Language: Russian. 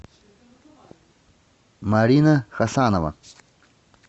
марина хасанова